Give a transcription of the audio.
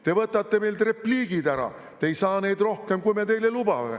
" Te võtate meilt repliigid ära: "Te ei saa neid rohkem, kui me teile lubame.